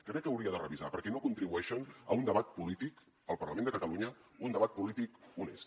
crec que ho hauria de revisar perquè no contribueixen a un debat polític al parlament de catalunya un debat polític honest